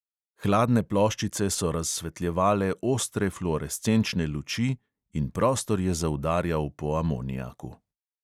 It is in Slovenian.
Hladne ploščice so razsvetljevale ostre fluorescenčne luči in prostor je zaudarjal po amoniaku.